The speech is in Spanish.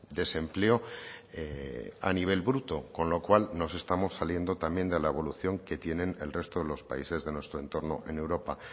desempleo a nivel bruto con lo cual nos estamos saliendo también de la evolución que tienen el resto de los países de nuestro entorno en europa